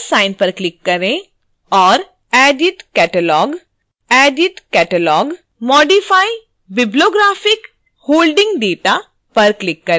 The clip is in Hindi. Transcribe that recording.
plus sign पर क्लिक करें और editcatalogue edit catalog modify bibliographic/holdings data पर क्लिक करें